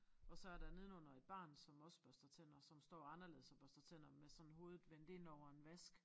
Og så er der nedenunder et barn som også børster tænder som står anderledes og børster tænder med sådan hovedet vendt indover en vask